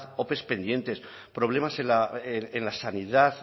ope pendientes problemas en la sanidad